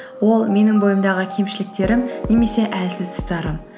ол менің бойымдағы кемшіліктерім немесе әлсіз тұстарым